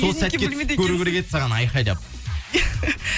сол сәтке түсіп көру керек еді саған айқайлап